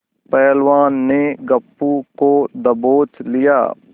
पहलवान ने गप्पू को दबोच लिया